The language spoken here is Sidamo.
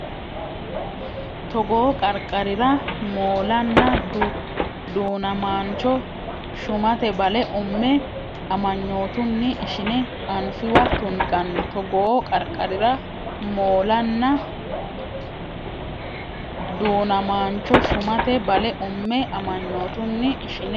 Togoo qarqarira moolanna du namaancho Shumate bale umme amanyootunni ishine anfiwa tunganni Togoo qarqarira moolanna du namaancho Shumate bale umme amanyootunni ishine.